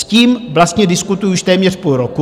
S tím vlastně diskutuji už téměř půl roku.